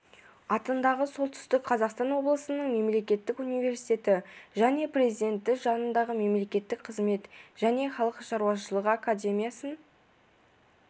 атындағы солтүстік қазақстан облысының мемлекеттік университеті және президенті жанындағы мемлекеттік қызмет және халық шаруашылығы академиясын